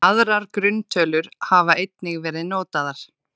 Aðrar grunntölur hafa einnig verið notaðar.